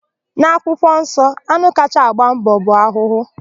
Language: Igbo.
N'akwụkwọnsọ, anụ kacha agba mbọ bụ ahụhụ.